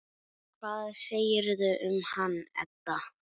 Hvað segirðu um hann, Edda?